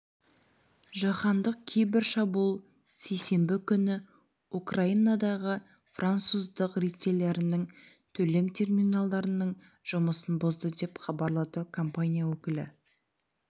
жаһандық кибер шабуыл сейсенбі күні украинадағы француздық ритейлерінің төлем терминалдарының жұмысын бұзды деп хабарлады компания өкілі